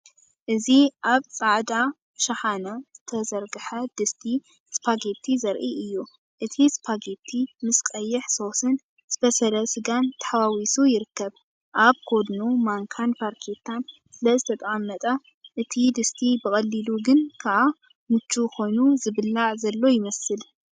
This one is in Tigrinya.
እዚ ኣብ ጻዕዳ ሸሓነ ዝተዘርግሐ ድስቲ ስፓጌቲ ዘርኢ እዩ። እቲ ስፓጌቲ ምስ ቀይሕ ሶስን ዝበሰለ ስጋን ተሓዋዊሱ ይርከብ። ኣብ ጎድኑ ማንካን ፋርኬታን ስለዝተቐመጠ፡ እቲ ድስቲ ብቐሊሉ ግን ከኣ ምቹእ ኮይኑ ዝብላዕ ዘሎ ይመስል።